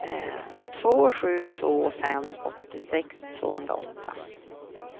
två sju två fem åttiosex tvåhundraåtta